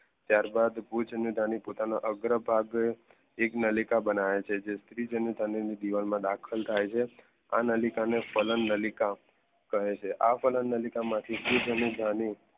ત્યારબાદ ભુજ અને દાદાને પોતાના આગ્રહ એક નલિકા બનાવે છે જે સ્ત્રી જણીથા દિવાલ માં દાખલ થાય છે આનલિકા અને ફલન નલિકા કહે છે આ ફલન નલિકા પુજ્ધન્યધાની